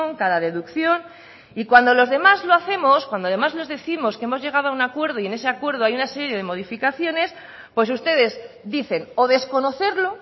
cada deducción y cuando los demás lo hacemos cuando además les décimos que hemos llegado a un acuerdo y en ese acuerdo hay una serie de modificaciones pues ustedes dicen o desconocerlo